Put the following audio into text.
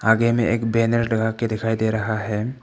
आगे में एक बैनर लगाके दिखाई दे रहा है।